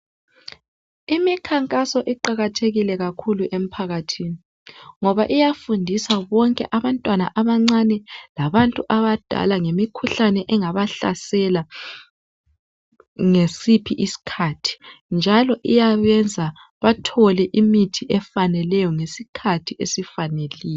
Imikhankaso iqakathekile kakhulu emphakathini ngoba iyafundisa bonke abantwana abancane labantu abadala ngemikhuhlane engabahlasela ngasiphi iskhathi njalo iyabenza bethole imithi efaneleyo ngesikhathi esifaneleyo.